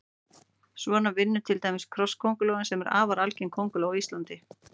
Svona vinnur til dæmis krosskóngulóin sem er afar algeng kónguló á Íslandi.